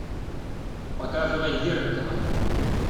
показывай зеркало